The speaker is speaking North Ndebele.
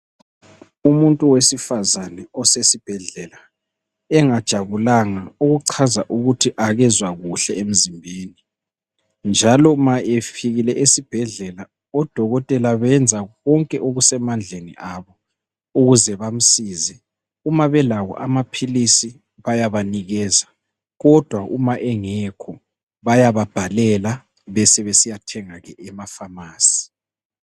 Umuntu wesifazane osesibhedlela. Engajabulanga okuchaza ukuthi akezwa kuhle emzimbeni. Njalo ma efikile esibhedlela odokotela benza konke okusemandleni abo ukuze bamsize. Uma belawo amaphilisi bayabanikeza Kodwa uma engekho bayababhalela sebesiyathenga ke e- pharmacy